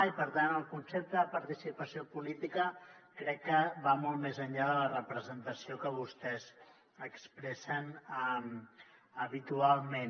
i per tant el concepte de participació política crec que va molt més enllà de la representació que vostès expressen habitualment